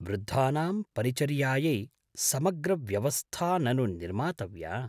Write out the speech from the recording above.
वृद्धानां परिचर्यायै समग्रव्यवस्था ननु निर्मातव्या।